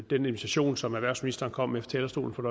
den invitation som erhvervsministeren kom med fra talerstolen for